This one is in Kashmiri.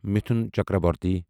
مِتُھن چکربورتی